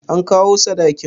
An kawo sadakin?